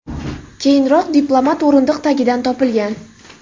Keyinroq diplomat o‘rindiq tagidan topilgan.